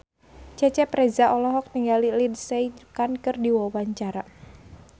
Cecep Reza olohok ningali Lindsay Ducan keur diwawancara